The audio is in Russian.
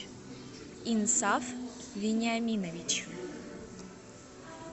инсаф вениаминович